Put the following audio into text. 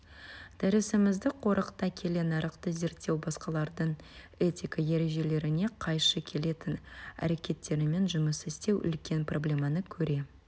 дәрісімізді қорыта келе нарықты зерттеу басқалардың этика ережелеріне қайшы келетін әрекеттерімен жұмыс істеу үлкен проблеманы көре